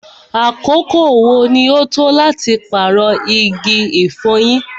àkókò wo ní o tọ́ láti paarọ igi ifọ̀yín?